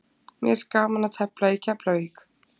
Mér finnst gaman að tefla í Keflavík.